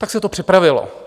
Tak se to připravilo.